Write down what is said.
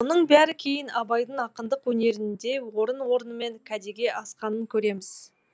мұның бәрі кейін абайдың ақындық өнерінде орын орнымен кәдеге асқанын көреміз